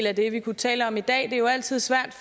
af det vi kunne tale om i dag det er jo altid svært